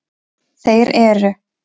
Þeir eru: